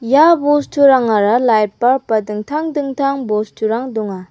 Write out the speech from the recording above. ia bosturangara lait balb ba dingtang dingtang bosturang donga.